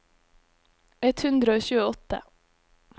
ett hundre og tjueåtte